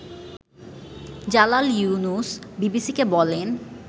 জালাল ইউনুস বিবিসিকে বলেন